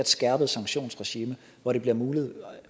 skærpet sanktionsregime hvor der bliver mulighed